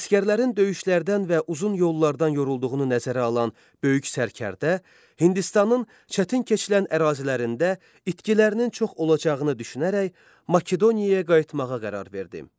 Əsgərlərin döyüşlərdən və uzun yollardan yorulduğunu nəzərə alan böyük sərkərdə Hindistanın çətin keçilən ərazilərində itkilərinin çox olacağını düşünərək Makedoniyaya qayıtmağa qərar verdi.